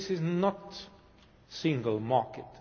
This is not a single market.